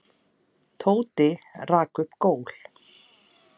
Tóti rak upp gól.